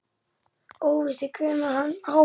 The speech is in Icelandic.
Óvíst er hvenær Hákon dó.